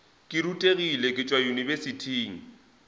ke rutegile ke tšwa yunibesithing